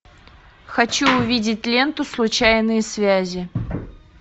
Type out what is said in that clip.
хочу увидеть ленту случайные связи